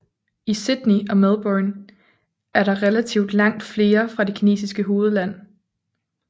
I Sydney og Melbourne er der relativt langt flere fra det kinesiske hovedland